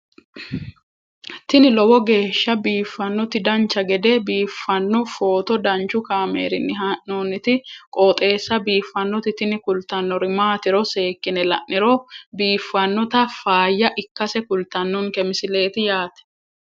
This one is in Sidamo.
tini lowo geeshsha biiffannoti dancha gede biiffanno footo danchu kaameerinni haa'noonniti qooxeessa biiffannoti tini kultannori maatiro seekkine la'niro biiffannota faayya ikkase kultannoke misileeti yaate